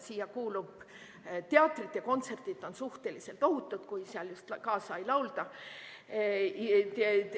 Siia kuuluvad teatrid ja kontserdid – need on suhteliselt ohutud, kui seal just kaasa ei laulda.